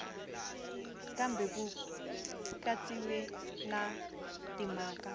kambe ku katsiwile na timhaka